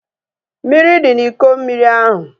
Mmiri dị n'Iko mmiri ahu